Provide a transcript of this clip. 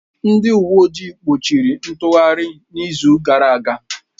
Ndị uwe ojii gbochiri ntụgharị n'izu gara aga.